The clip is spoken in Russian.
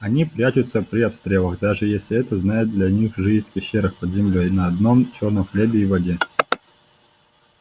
они прячутся при обстрелах даже если это знает для них жизнь в пещерах под землёй на одном чёрном хлебе и воде